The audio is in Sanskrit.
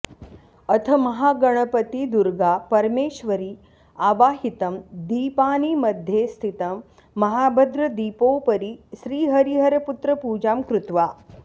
अथ महागणपति दुर्गा परमेश्वरी आवाहितं दीपानि मध्ये स्थितं महाभद्रदीपोपरि श्रीहरिहरपुत्रपूजां कृत्वा